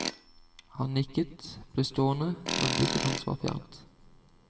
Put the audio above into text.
Han nikket, ble stående, men blikket hans var fjernt.